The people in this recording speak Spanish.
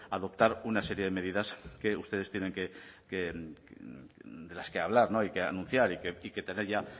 adoptar una serie de medidas que ustedes tienen que de las que hablar y que anunciar y que tener ya